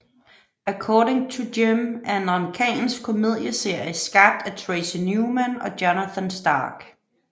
According to Jim er en amerikansk komedieserie skabt af Tracy Newman og Jonathan Stark